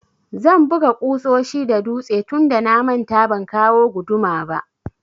Zan buga ƙusoshi da dutse tunda na manta ban kawo guduma ba.